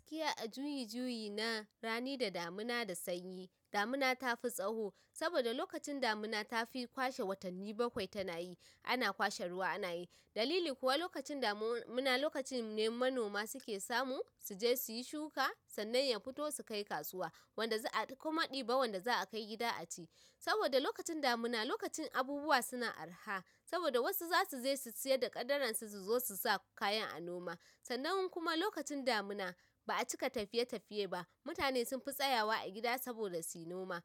Gaskiya a juyi-juyi na rani da damuna da sanyi. Damuna ta fi tsaho saboda lokacin damuna ta fi kwashe watanni bakwai tana yi. Ana kwashe ruwa ana yi, dalili kuwa lokacin damu-muna, lokacin ne manoma suke samu su je suyi shuka sannan ya fito su kai kasuwa. Wanda za a kuma ɗiba wanda za a kai gida a ci. Saboda lokacin damuna lokacin abubuwa suna arha, saboda wasu zasu je su siyar da kadarar su zo su sa kayan a noma. Sannan kuma lokacin damuna ba'a cika tafiye-tafiye ba. Mutane sun fi tsayawa a gida saboda suyi noma.